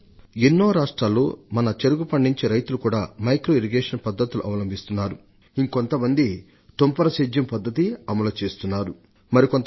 ఎన్నో రాష్ట్రాల్లో మన చెరకు పండించే రైతులు సైతం సూక్ష్మ సేద్యపు నీటి పారుదల పద్ధతులను అవలంబిస్తున్నారన్నా ఇంకొంత మంది జల్లు సేద్య పద్ధతిని పాటిస్తున్నారన్నా